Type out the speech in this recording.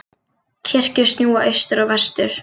Kirkjur snúa austur og vestur.